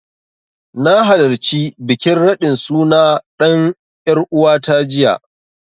Na halarci bikin raɗin suna ɗan ƴaruwata jiya.